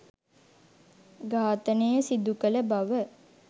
ඝාතනය සිදුකළ බව